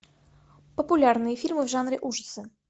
популярные фильмы в жанре ужасы